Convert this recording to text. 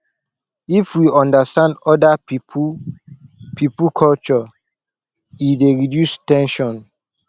if we understand oda pipo pipo culture e dey reduce ten sion